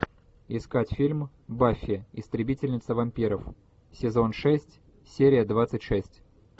искать фильм баффи истребительница вампиров сезон шесть серия двадцать шесть